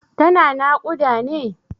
Tana naƙuda ne?